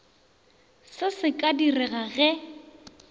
se se ka direga ge